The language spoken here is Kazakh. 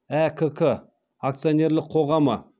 әкк акционерлік қоғамы